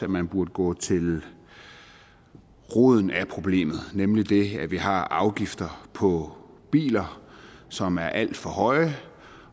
man burde gå til roden af problemet nemlig det at vi har afgifter på biler som er alt for høje